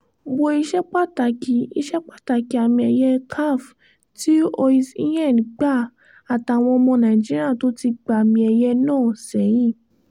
wo ìṣepàtàkì ìṣepàtàkì àmì ẹ̀yẹ caf tí os îhén gbà àtàwọn ọmọ nàìjíríà tó ti gbàmì ẹ̀yẹ náà sẹ́yìn